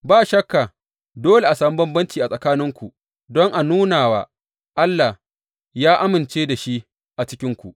Ba shakka dole a sami bambanci a tsakaninku don a nuna wa Allah ya amince da shi a cikinku.